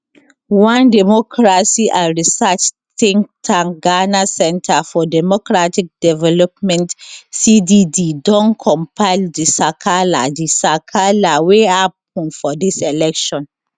one democracy and research think tank ghana center for democratic development cdd don compile di sakala di sakala wey happun for dis election